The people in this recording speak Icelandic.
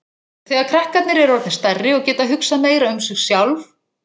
Þegar krakkarnir eru orðnir stærri og geta hugsað meira um sig sjálf